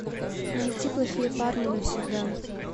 найти плохие парни навсегда